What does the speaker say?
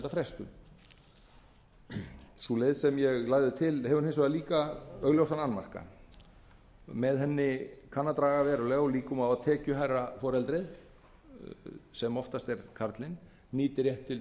um nokkur ár leiðin sem ég lagði til hefur þann annmarka að með henni dregur úr líkum á því að tekjuhærra foreldrið sem oftast er karlinn nýti rétt sinn til